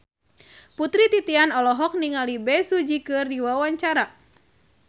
Putri Titian olohok ningali Bae Su Ji keur diwawancara